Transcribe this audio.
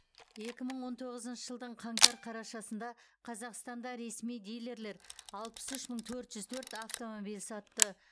екі мың он тоғызыншы жылдың қаңтар қарашасында қазақстанда ресми дилерлер алпыс үш мың төрт жүз төрт автомобиль сатты